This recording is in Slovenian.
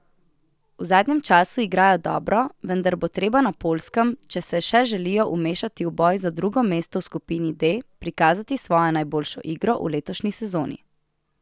V zadnjem času igrajo dobro, vendar bo treba na Poljskem, če se še želijo vmešati v boj za drugo mesto v skupini D, prikazati svojo najboljšo igro v letošnji sezoni.